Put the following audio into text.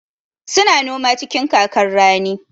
Su na noma cikin kakar rani.